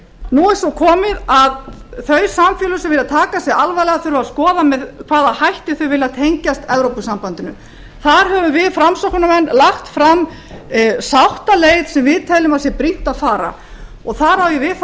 nú er svo komið að hnattvæðingin eða alþjóðasamkeppnin er orðið eitt helsta hreyfiafl samtímans og breyttrar heimsmyndar henni fylgja breytingar sem í senn eru tæknilegar efnahagslegar pólitískar félagslegar og menningarlegar vegna hraðra breytinga er fólk meira á ferðinni og það kallar á nýjar aðstæður sem